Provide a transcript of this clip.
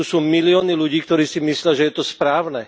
Tu sú milióny ľudí, ktorí si myslia, že je to správne.